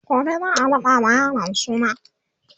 gobe zaa raɗa ma yaron suna